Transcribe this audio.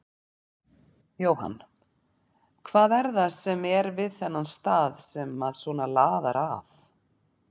Jóhann: Hvað er það sem að er við þennan stað sem að svona laðar að?